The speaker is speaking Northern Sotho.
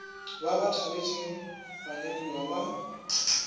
ba ba tšhabetšego banyadiwa ba